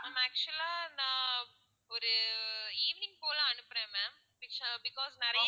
ma'am actual ஆ நான் ஒரு evening போல அனுப்புறேன் ma'am pictures because நிறைய